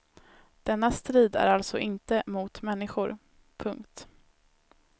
Denna strid är alltså inte mot människor. punkt